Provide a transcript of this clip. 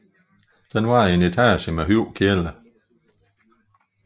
Den var i en etage med høj kælder